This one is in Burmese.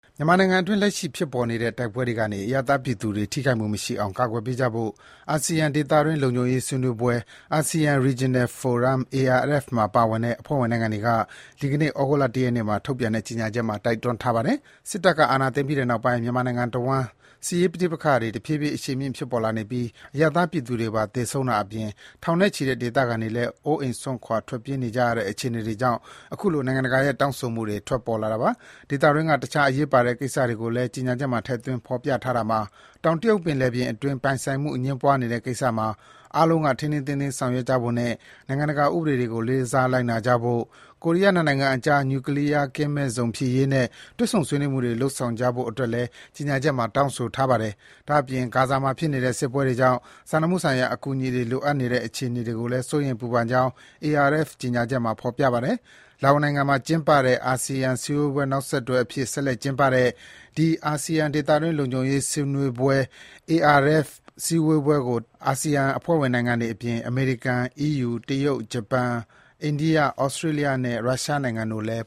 မြန်မာနိုင်ငံအတွင်း လက်ရှိဖြစ်ပေါ်နေတဲ့ တိုက်ပွဲတွေကနေ အရပ်သားပြည်သူတွေ ထိခိုက်မှုမရှိအောင် ကာကွယ်ပေးကြဖို့ အာဆီယံ ဒေသတွင်း လုံခြုံရေးဆွေးနွေးပွဲ (Asean Regional Forum-ARF) မှာပါဝင်တဲ့ အဖွဲ့ဝင်နိုင်ငံတွေက ဒီကနေ့ ဩဂုတ်လ ၁ ရက်နေ့မှာ ထုတ်ပြန်တဲ့ ကြေညာချက်မှာ တိုက်တွန်းထားပါတယ်။ စစ်တပ်က အာဏာ သိမ်းပြီးတဲ့နောက်ပိုင်း မြန်မာနိုင်ငံတဝန်း စစ်ရေးပဋိပက္ခတွေ တဖြည်းဖြည်း အရှိန်မြင့် ဖြစ်ပေါ်လာနေပြီး အရပ်သားပြည်သူတွေပါ သေဆုံးတာအပြင် ထောင်နဲ့ချီတဲ့ ဒေသခံတွေလည်း အိုးအိမ်စွန့်ခွာ ထွက်ပြေးနေကြရတဲ့ အခြေအနေတွေကြောင့် အခုလို နိုင်ငံတကာရဲ့ တောင်းဆိုမှုတွေ ထွက်ပေါ်လာတာပါ။ ဒေသတွင်းက တခြားအရေးပါတဲ့ကိစ္စကိုလည်း ကြေညာချက်မှာ ထည့်သွင်း ဖော်ပြထားတာမှာ - တောင်တရုတ်ပင်လယ်ပြင်အတွင်း ပိုင်ဆိုင်မှုအငြင်းပွားနေတဲ့ကိစ္စမှာ အားလုံးက ထိန်းထိန်းသိမ်းသိမ်း ဆောင်ရွက်ကြဖို့နဲ့ နိုင်ငံတကာ ဥပဒေတွေကို လေးစား လိုက်နာကြဖို့၊ ကိုရီးယား နှစ်နိုင်ငံအကြား နျူကလီးယားကင်းမဲ့ဇုံဖြစ်ရေးနဲ့ တွေ့ဆုံ ဆွေးနွေးမှုတွေ လုပ်ဆောင်ကြဖို့အတွက်လည်း ကြေညာချက်မှာ တောင်းဆိုထားပါတယ်။ ဒါ့အပြင် ဂါဇာမှာဖြစ်နေတဲ့ စစ်ပွဲတွေကြောင့် စာနာမှုဆိုင်ရာ အကူအညီတွေ လိုအပ်နေတဲ့အခြေအနေကိုလည်း စိုးရိမ် ပူပန်ကြောင်း ARF ကြေညာချက်မှာ ဖော်ပြထားပါတယ်။ လာအိုနိုင်ငံမှာကျင်းပတဲ့ အာဆီယံ စည်းဝေးပွဲ နောက်ဆက်တွဲအဖြစ် ဆက်လက်ကျင်းပတဲ့ ဒီ အာဆီယံ ဒေသတွင်း လုံခြုံရေးဆွေးနွေးပွဲကို အာဆီယံ အဖွဲ့ဝင်နိုင်ငံတွေအပြင် အမေရိကန်၊ အီးယူ၊ တရုတ်၊ ဂျပန်၊ အိန္ဒိယ၊ ဩစတြေးလျနဲ့ ရုရှားနိုင်ငံတို့လည်း